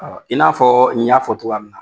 I n'a fɔ n y'a fɔ cogpya min na.